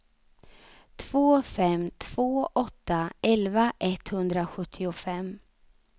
två fem två åtta elva etthundrasjuttiofem